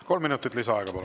Kolm minutit lisaaega, palun!